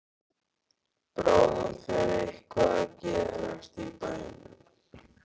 Bráðum fer eitthvað að gerast í bænum.